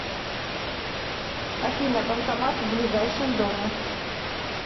афина банкомат в ближайшем доме